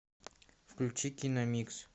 включи киномикс